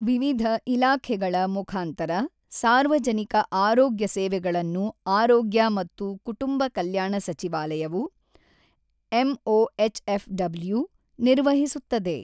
ವಿವಿಧ ಇಲಾಖೆಗಳ ಮುಖಾಂತರ ಸಾರ್ವಜನಿಕ ಆರೋಗ್ಯ ಸೇವೆಗಳನ್ನು ಆರೋಗ್ಯ ಮತ್ತು ಕುಟುಂಬ ಕಲ್ಯಾಣ ಸಚಿವಾಲಯವು (ಎಂಒಎಚ್ಎಫ್‌ಡಬ್ಲೂ ) ನಿರ್ವಹಿಸುತ್ತದೆ.